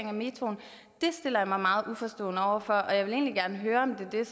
af metroen det stiller jeg mig meget uforstående over for og jeg vil egentlig gerne høre om det er